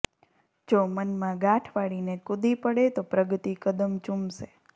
જો મનમાં ગાંઠ વાળીને કૂદી પડે તો પ્રગતિ કદમ ચુમશે